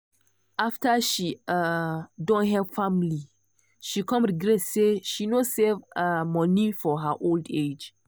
after she um don help family she come regret say she no save um monie for her old age.